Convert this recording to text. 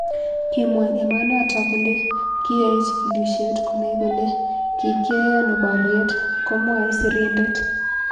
Kimwa emonotok kole kiyoe chigilishet konai kole kikyoe ano boriet "komwoe sirindet.